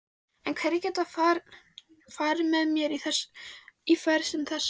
En hverjir geta farið með í ferð sem þessa?